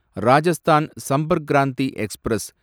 Rajasthan Sampark Kranti express